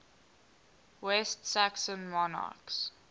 west saxon monarchs